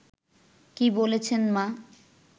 কী বলছেন মা